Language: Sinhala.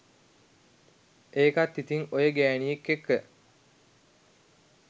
ඒකත් ඉතිං ඔය ගෑනියෙක් එක්ක